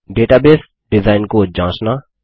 database design को जाँचना